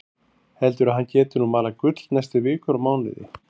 Heldur að hann geti nú malað gull næstu vikur og mánuði.